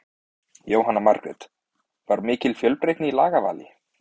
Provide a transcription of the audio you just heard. Jóhanna Margrét: Var mikil fjölbreytni í lagavali?